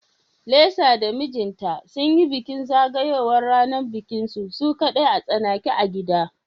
Lisa da mijinta sunyi bikin zagayowar ranar bikinsu su kadai a tsanake a gida